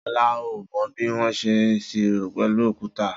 Sola ò mọ bi wọn sẹ ìṣiró pẹlu òkútà.